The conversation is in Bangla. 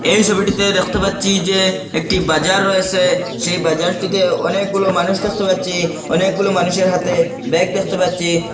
এই সবিটিতে দেখতে পাচ্চি যে একটি বাজার রয়েসে সেই বাজারটিতে অনেকগুলো মানুষ দেখতে পাচ্চি অনেকগুলো মানুষের হাতে ব্যাগ দেখতে পাচ্চি।